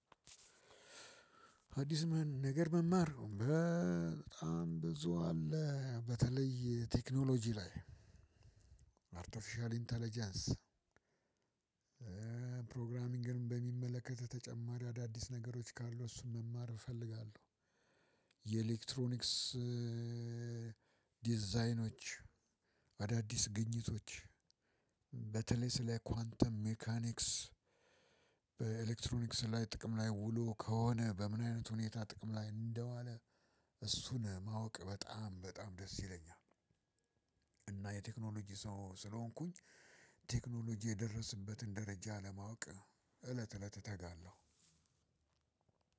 አዲስ ነገር መማር በጣም ብዙ አለ። በተለይ ቴክኖሎጅ ላይ አርቴፊሽያል ኢንተለጀንስ ፕሮግራሚንግንም በሚመለከት ተጨማሪ አዳዲስ ነገሮች ካሉ እሱን መማር እፈልጋለሁ። የኤሌክትሮኒክስ ዲዛይኖች አዳዲስ ግኝቶች በተለይ ስለ ኳንተም ሜካኒክስ በኤሌክትሮኒክስ ላይ ጥቅም ላይ ውሎ ከሆነ በምን አይነት ሁኔታ ጥቅም ላይ እንደዋለ እሱን ማወቅ በጣም በጣም ደስ ይለኛል። እና የቴክኖሎጅ ሰው ስለሆንኩኝ ቴክኖሎጅ የደረስበትን ደረጃ ለማወቅ እለት እለት እተጋለሁ።